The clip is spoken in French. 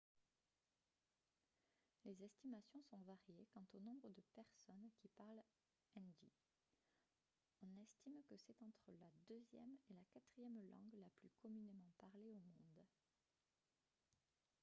les estimations sont variées quant au nombre de personnes qui parlent hindi on estime que c'est entre la deuxième et la quatrième langue la plus communément parlée au monde